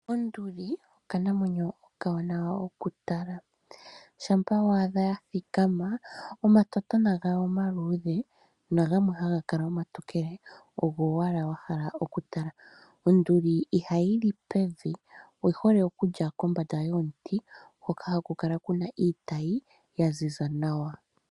Onduli okanamwenyo okawanawa okutala. Shampa wa adha ya thikama, omatotona gayo omaluudhe, nagamwe haga kala omatokele, ogo owala wa hala okutala. Onduli ihayi li pevi, oyi hole okulya kombanda yomuti, hoka haku kala ku na iitayi ya ziza nawa.